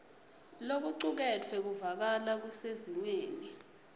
lokucuketfwe kuvakala kusezingeni